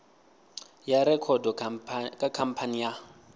ya rekhodo kha khamphani ya